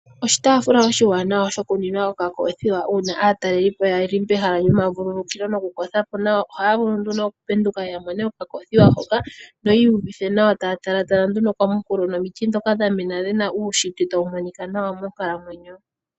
Oshitaafula oshiwanawa shoku nwina okoothiwa uuna aatalelipo yali pomahala gomavululukilo nokukotha po nawa. Ohaya vulu nduno okupenduka ya mone okakoothiwa hoka, noyi iyuvithe nawa taya tala nduno komukulo nomiti ndhoka dha mena dhi na uunshitwe tawu monika nawa monkalamwenyo.